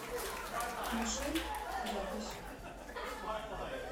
мишель запись